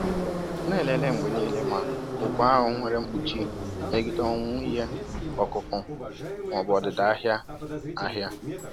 Na-elele mgbe niile ma ụgwọ ahụ nwere mkpuchi megide ọnwụ ihe ọkụkụ ma ọ bụ ọdịda ahịa ahịa